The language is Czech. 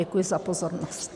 Děkuji za pozornost.